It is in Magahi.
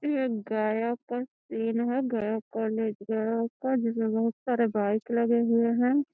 इ एक गया के सीन हेय गया कॉलेज गया का जिसमें बहुत सारे बाइक लगे हुए हैं।